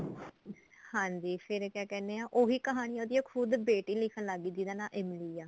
ਹਾਂਜੀ ਫੇਰ ਕਿਆ ਕਹਿਨੇ ਆ ਉਹੀ ਕਹਾਣੀ ਉਹਦੀ ਬੇਟੀ ਲਿੱਖਣ ਲੱਗਗੀ ਜਿਹਦਾ ਨਾ ਇਮਲੀ ਆ